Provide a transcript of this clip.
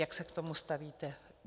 Jak se k tomu stavíte?